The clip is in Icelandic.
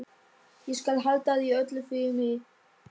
Inna, hringdu í Maggeyju.